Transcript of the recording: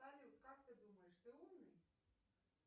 салют как ты думаешь ты умный